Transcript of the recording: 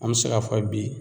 An bɛ se k'a fɔ bi